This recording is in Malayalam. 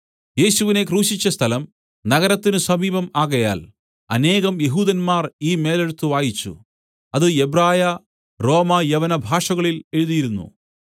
യേശുവിനെ ക്രൂശിച്ച സ്ഥലം നഗരത്തിന് സമീപം ആകയാൽ അനേകം യെഹൂദന്മാർ ഈ മേലെഴുത്ത് വായിച്ചു അത് എബ്രായ റോമ യവന ഭാഷകളിൽ എഴുതിയിരുന്നു